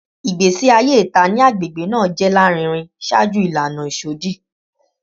Igbesi aye ita ni agbegbe naa jẹ larinrin ṣaaju ilana isọdi